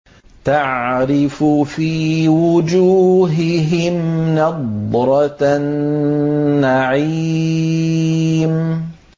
تَعْرِفُ فِي وُجُوهِهِمْ نَضْرَةَ النَّعِيمِ